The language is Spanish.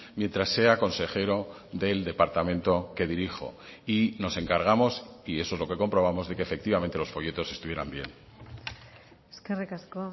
mientras sea consejero del departamento que dirijo y nos encargamos y eso es lo que comprobamos de que efectivamente los folletos estuvieran bien eskerrik asko